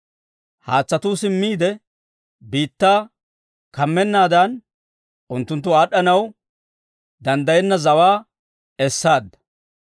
Haatsatuu simmiide biittaa kammennaadan, unttunttu aad'd'anaw danddayenna zawaa essaadda.